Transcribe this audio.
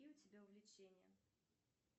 какие у тебя увлечения